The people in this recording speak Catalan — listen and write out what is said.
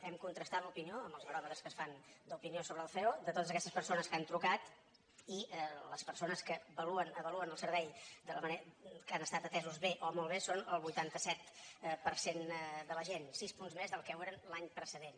hem contrastat l’opinió amb els baròmetres que es fan d’opinió sobre el ceo de totes aquestes persones que han trucat i les persones que avaluen el servei que han estat atesos bé o molt bé són el vuitanta set per cent de la gent sis punts més del que ho eren l’any precedent